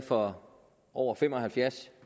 for over fem og halvfjerds